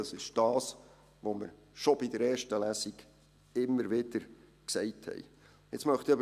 Das ist das, was wir bereits während der ersten Lesung immer wieder gesagt haben.